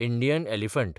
Indian elephant